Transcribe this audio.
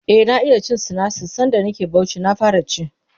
e na iya cin sinasir sanda nake Bauchi na fara ci